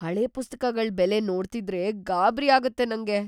ಹಳೆ ಪುಸ್ತಕಗಳ್ ಬೆಲೆ ನೋಡ್ತಿದ್ರೇ ಗಾಬ್ರಿ ಆಗತ್ತೆ ನಂಗೆ.